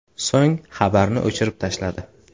So‘ng xabarni o‘chirib tashladi.